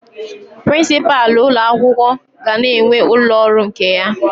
Prinsipalụ ụlọ akwụkwọ ga na-enwe ụlọ ọrụ nke ya